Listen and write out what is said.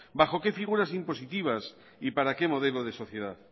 bajo qué figuras impositivas y para qué modelo de sociedad